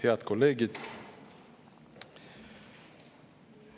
Head kolleegid!